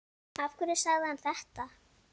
Af hverju sagði hann þetta?